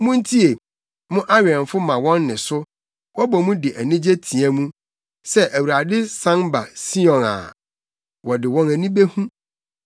Muntie! Mo awɛmfo ma wɔn nne so; wɔbɔ mu de anigye teɛ mu. Sɛ Awurade san ba Sion a, wɔde wɔn ani behu.